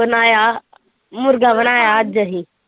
ਬਣਾਇਆ ਮੁਰਗਾ ਬਣਾਇਆ ਅੱਜ ਅਸੀਂ।